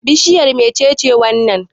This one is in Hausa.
Bishiyar me ce wannan?